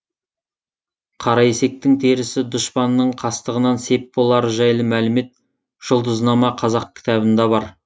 қара есектің терісі дұшпанның қастығынан сеп болары жайлы мәлімет жұлдызнама қазақ кітабында бар